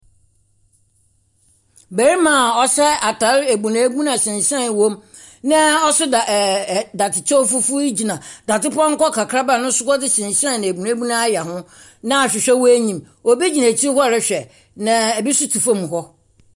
Barima a ɔhyɛ ataare ebuenun a shan shaae wɔm, na ɔso dadzekyɛw fufuw gyina dadze pɔnkɔ kakraba a ɔno so shan shaae ebuenun ayɛ ho, na ahwehwɛ wɔ enyim. Obi gyina ekyir hɔ rehwɛ, na obi so tse fom hɔ.